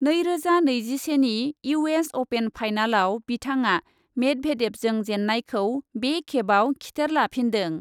नैरोजा नैजिसेनि U S open फाइनालाव बिथाङा मेदभेदेभजों जेन्नायखौ बे खेबआव खिथेर लाफिन्दों।